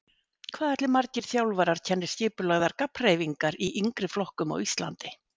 Hvað ætli margir þjálfarar kenni skipulagðar gabbhreyfingar í yngri flokkum á Íslandi?